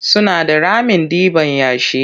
Suna da ramin ɗiban yashi.